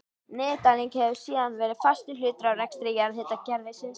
Niðurdæling hefur síðan verið fastur hluti af rekstri jarðhitakerfisins.